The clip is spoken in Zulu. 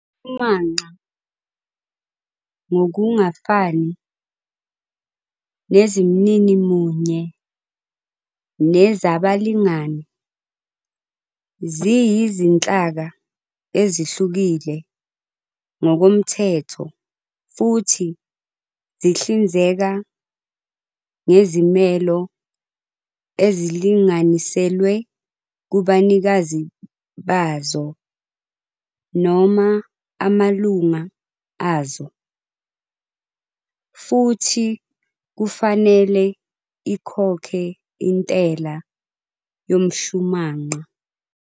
Imishumanqa, ngokungafani neziMnini munye nezabaLingani, ziyizinhlaka ezihlukile ngokomthetho futhi zihlinzeka ngezimelo ezilinganiselwe kubanikazi bazo noma amalunga azo, futhi kufanele ikhokhe intela yomshumanqa.